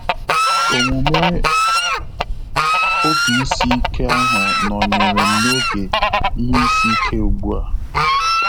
Omume ob ísī ike ahụ nọnyerem n'oge ihe isi ike ugbua